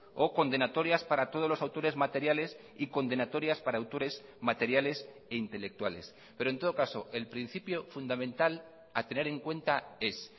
o condenatorias para todos los autores materiales y condenatorias para autores materiales e intelectuales pero en todo caso el principio fundamental a tener en cuenta es